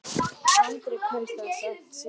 Andri: Kaustu það sama síðast?